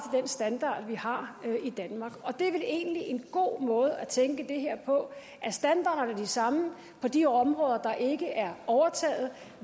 den standard vi har i danmark og det er vel egentlig en god måde at tænke det her på er standarderne de samme på de områder der ikke er overtaget